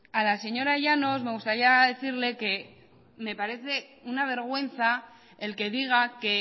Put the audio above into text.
a la señora llanos me gustaría decirle que me parece una vergüenza el que diga que